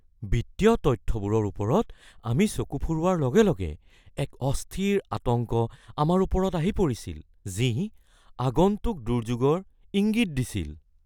বিত্তীয় তথ্যবোৰৰ ওপৰত আমি চকু ফুৰোৱাৰ লগে লগে, এক অস্থিৰ আতংক আমাৰ ওপৰত আহি পৰিছিল, যি আগন্তুক দুৰ্যোগৰ ইংগিত দিছিল।